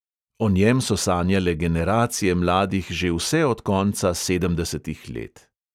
O njem so sanjale generacije mladih že vse od konca sedemdesetih let.